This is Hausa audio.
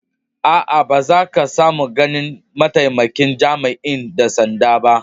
Aa, ba za ka samu ganin ma'taimakin jami'in dan sanda'n ba.